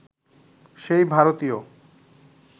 সে ভারতীয়